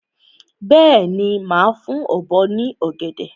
Bẹ́ẹ̀ni, màá fún ọ̀bọ ní ọ̀gẹ̀dẹ̀.